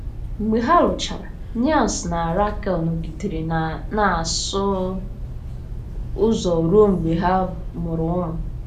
Mgbe ha lụchara, Niels na Rakel nọgidere na-asụ ụzọ ruo mgbe ha mụrụ ụmụ.